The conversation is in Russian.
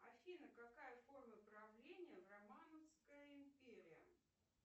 афина какая форма правления в романской империи